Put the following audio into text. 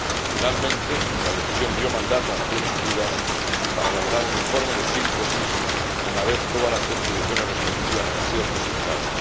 Finalmente, la decisión dio mandato a las Naciones Unidas para elaborar un informe de síntesis una vez todas las contribuciones respectivas hayan sido presentadas.